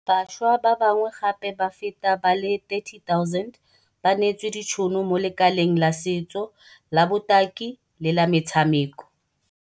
Bašwa ba bangwe gape ba feta ba le 30 000 ba neetswe ditšhono mo lekaleng la setso, la botaki le la metshameko.